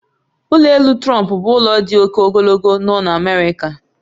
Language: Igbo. Ụlọ elu Trump bụ ụlọ dị oke ogologo nọ n'America